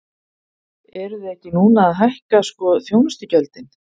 Eruð þið ekki núna að hækka sko þjónustugjöldin?